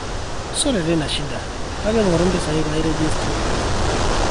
sore teina shida kake ngoru mpesa kaai nairegister oyiok